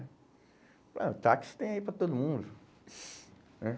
O táxi tem aí para todo mundo né?